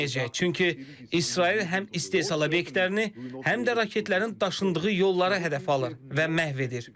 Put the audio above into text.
Çünki İsrail həm istehsal obyektlərini, həm də raketlərin daşındığı yolları hədəf alır və məhv edir.